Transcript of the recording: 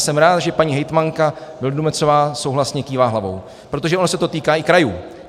Jsem rád, že paní hejtmanka Vildumetzová souhlasně kývá hlavou, protože ono se to týká i krajů.